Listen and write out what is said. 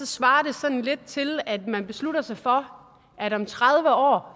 svarer det sådan lidt til at man beslutter sig for at man om tredive år